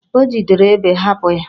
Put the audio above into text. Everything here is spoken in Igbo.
O jidere Ébè, hapụ ya!